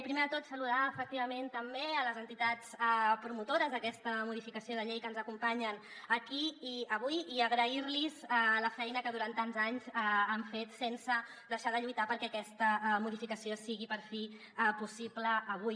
primer de tot saludar efectivament també les entitats promotores d’aquesta modificació de llei que ens acompanyen aquí i avui i agrair los la feina que durant tants anys han fet sense deixar de lluitar perquè aquesta modificació sigui per fi possible avui